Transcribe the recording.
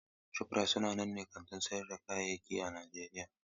Shofrayit sanannen kantin sayar da kayayyaki ne a Najeriya.